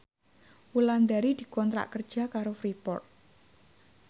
Wulandari dikontrak kerja karo Freeport